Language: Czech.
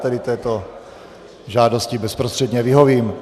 Tedy této žádosti bezprostředně vyhovím.